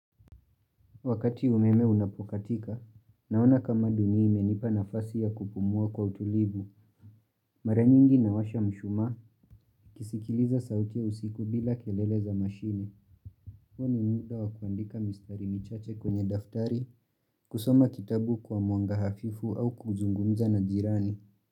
Wakati umeme unapokatika, naona kama dunia imenipa nafasi ya kupumua kwa utulivu, mara nyingi nawasha mshumaa, kisikiliza sauti ya usiku bila kelele za mashine, huo muda wakuandika mistari michache kwenye daftari, kusoma kitabu kwa mwanga hafifu au kuzungumza na jirani.